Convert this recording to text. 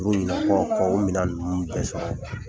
Oru ɲinakɔ kɔ kɔ olu mina nunnu tɛ sɔrɔ